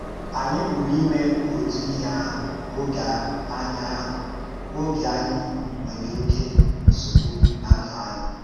Ànyị púrù ímè òtù íhè àhụ̀ ógè ànyị àhụ̀ ógè ànyị nwèrè òké nsọ̀gbù ná ndú ànyị